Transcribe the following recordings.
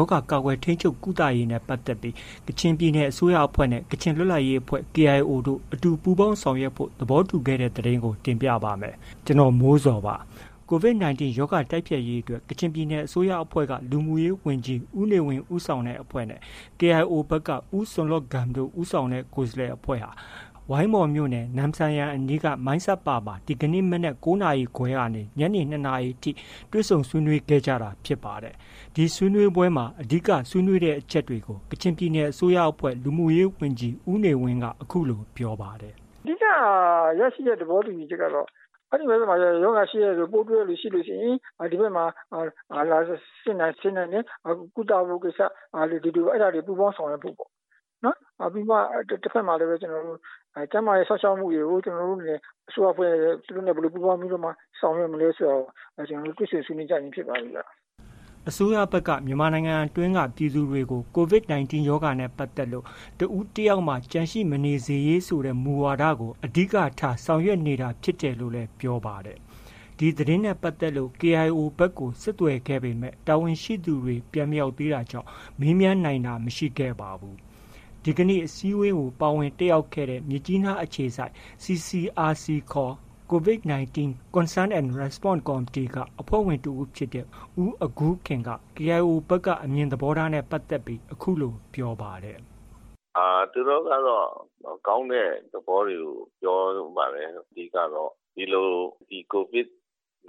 ောဂါကာကွယ်ထိန်းချုပ်ကုသရေးနဲ့ပတ်သက်ပြီး ကချင်ပြည်နယ်အစိုးရအဖွဲ့နဲ့ ကချင်လွတ်လပ်ရေးအဖွဲ့ KIOတို့ အတူပူးပေါင်းဆောင်ရွက်ဖို့ သဘောတူခဲ့တဲ့သတင်းကို ကိုမိုးဇော် တင်ပြပေးထားပါတယ်။ COVID-19 ရောဂါ တိုက်ဖျက်ရေးအတွက် ကချင်ပြည်နယ်အစိုးရအဖွဲ့က လူမှုရေးဝန်ကြီး ဦးနေဝင်းဦးဆောင်တဲ့အဖွဲ့နဲ့ KIO ဘက်က ဦးဆွမ်လွတ်ဂမ်တို့ ဦးဆောင်တဲ့ ကိုယ်စားလှယ်အဖွဲ့ဟာ ဝိုင်းမော်မြို့နယ် နမ့်ဆန်ယန်အနီးက မိုင်ဆပ်ပါမှာ ဒီကနေ့ မနက် ၉နာရီခွဲကနေ ညနေ ၂နာရီအထိ တွေ့ဆုံ ဆွေးနွေးခဲ့ကြတာဖြစ်ပါတယ်။ ဒီဆွေးနွေးပွဲမှာ အဓိက ဆွေးနွေးကြတဲ့အချက်တွေကို ကချင်ပြည်နယ်အစိုးရအဖွဲ့ လူမှုရေးဝန်ကြီး ဦးနေဝင်းက အခုလို ပြောပါတယ်။ “အဓိက ရရှိတဲ့ သဘောတူညီချက်ကတော့ အဲဒီဘက်ကမှာ ရောဂါရှိတဲ့သူ၊ ပိုးတွေ့တဲ့လူရှိလိုရှိရင် ဒီဘက်ကမှာလာပြီး စစ်နိုင်ဆေးနိုင်တယ်။ ကုသဖို့ကိစ္စ အဲဒါတွေ ပူးပေါင်းဆောင်ရွက်ဖို့ပေါ့။ နောက်ပြီးမှ တဘက်မှာလည်းပဲ ကျနော်တို့ ကျန်းမာရေးစောင့်ရှောက်မှုတွေကို ကျနော်တို့အနေနဲ့ အစိုးရအဖွဲ့နဲ့ သူတို့နဲ့ ဘယ်လို ပူးပေါင်းပြီးတော့မှ ဆောင်ရွက်ကြမလဲဆိုတာကို တွေ့ဆုံဆွေးနွေးကြခြင်းဖြစ်ပါတယ်ဗျ။” အစိုးရဘက်က မြန်မာနိုင်ငံအတွင်းက ပြည်သူတွေ ကိုဗစ် ၁၉ရောဂါနဲ့ပတ်သက်လို့ တစ်ဦးတစ်ယောက် ကျန်ရှိမနေစေရေးဆိုတဲ့ မူဝါဒကို အဓိကထား ဆောင်ရွက်နေတာဖြစ်တယ်လို့လည်း ပြောပါတယ်။ ဒီသတင်းနဲ့ပတ်သက်ပြီး KIO ဘက်ကို ဆက်သွယ်ခဲ့ပေမဲ့ တာဝန်ရှိသူတွေ ပြန်မရောက်သေးတာကြောင့် မေးမြန်းနိုင်တာ မရှိခဲပါဘူး။ ဒီနေ့ အစည်းအဝေးကိုပါဝင်တက်ရောက်ခဲ့တဲ့ မြစ်ကြီနား အခြေစိုက် CCRC ခေါ် COVID-19 Concern and Response Committee ကအဖွဲ့ဝင်တစ်ဦးဖြစ်တဲ့ ဦးအဂူးခင်က KIOဘက်က အမြင်သဘောထားနဲ့ ပတ်သက်ပြီး အခုလို ပြောပါတယ်။ “သူတို့ကတော့ ကောင်းတဲ့သဘောတွေကို ပြောပါတယ်။ အဓိကတော့ ဒီလို ကိုဗစ်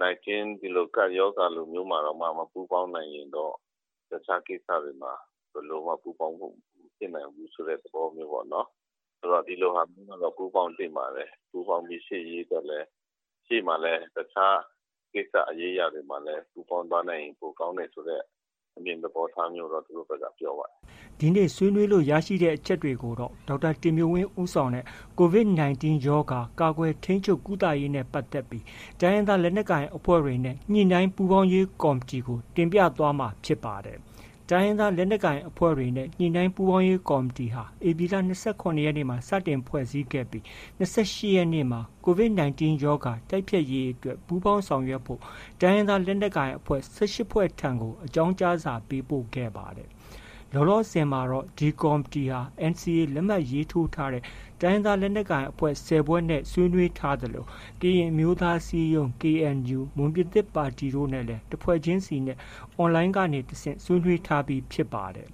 ၁၉ ဒီလို ကပ်ရောဂါမှာတောင်မှ မပူးပေါင်းနိုင်ရင်တော့ တစ်ခြားကိစ္စတွေမှာ ဘယ်လိုမှ ပူးပေါင်းဖို့ မဖြစ်နိုင်ဘူးဆိုတဲ့ သဘောမျိုးပေါ့နော်။ ဒီလိုဟာမျိုးကတော့ ပူးပေါင်းသင့်ပါတယ်။ ပူးပေါင်းပြီး ရှေ့ရေးအတွက်လည်း ရှေ့မှာလည်း တစ်ခြား ကိစ္စ အရပ်ရပ်တွေမှာ ပူးပေါင်းသွားနိုင်ရင် ပိုကောင်းတယ်ဆိုတဲ့ အမြင်သဘောထားမျိုးတော့ သူတို့ဘက်က ပြောပါတယ်။” ဒီနေ့ဆွေးနွေးလို့ ရရှိတဲ့အချက်တွေကိုတော့ ဒေါက်တာတင်မျိုးဝင်းဦးဆောင်တဲ့ COVID-19 ရောဂါ ကာကွယ်၊ ထိန်းချုပ်၊ ကုသရေးနဲ့ပတ်သက်ပြီး တိုင်းရင်းသားလက်နက်ကိုင်အဖွဲ့တွေနဲ့ ညှိနှိုင်းပူးပေါင်းရေးကော်မတီကို တင်ပြသွားမှာဖြစ်ကြောင်း ပြောပါတယ်။ တိုင်းရင်းသားလက်နက်ကိုင်အဖွဲ့တွေနဲ့ ညှိနှိုင်း ပူးပေါင်းရေးကော်မတီဟာ ဧပြီလ ၂၇ရက်နေ့မှာ စတင် ဖွဲ့စည်းခဲ့ပြီး ၂၈ရက်နေ့မှာ COVID-19 ရောဂါ တိုက်ဖျက်ရေးအတွက် ပူးပေါင်းဆောင်ရွက်ဖို့ တိုင်းရင်းသားလက်နက်ကိုင်အဖွဲ့ ၁၈ဖွဲ့ထံကို အကြောင်းကြားစာပေးပို့ထားပါတယ်။ လောလောဆည်မှာတော့ ဒီကော်မတီ NCAလက်မှတ်ရေးထိုးထားတဲ့ တိုင်းရင်းသားလက်နက်ကိုင်အဖွဲ့ ၁၀ဖွဲ့နဲ့ ဆွေးနွေးထားသလို ကရင်အမျိုးသားအစည်းအရုံး KNU ၊ မွန်ပြည်သစ်ပါတီတို့နဲ့ တစ်ဖွဲ့ချင်းစီနဲ့ Online ကနေ ဆွေးနွေးထားပြီးဖြစ်ပါတယ်